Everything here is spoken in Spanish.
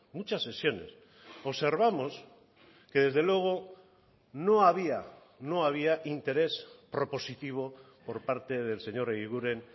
muchas sesiones observamos que desde luego no había no había interés propositivo por parte del señor eguiguren